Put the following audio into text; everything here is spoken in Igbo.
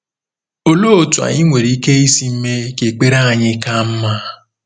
Olee otú anyị nwere ike isi mee ka ekpere anyị ka mma?